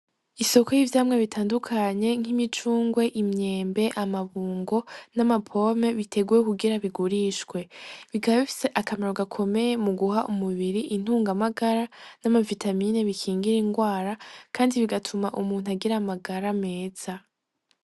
Isoko y'ivyamwa bitandukanye nk'imicungwe imyembe amabungo n'amapome biteguwe kugira bigurishwe bikaba bifise akamaro gakomeye mu guha umubiri intunga magara n'amafitamine bikingire ingwara, kandi bigatuma umuntu agira amagara meza.